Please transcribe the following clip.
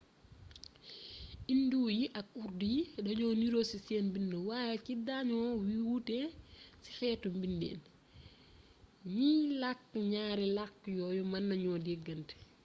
indo yi ak urdu yi dañoo niiro ci seen bind waaye ci dañoo wuute ci xeetu bindiin ñiy lakk ñaari lakk yooyu mën nañu dégante